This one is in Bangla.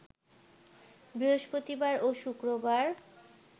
বৃহষ্পতিবার ও শুক্রবার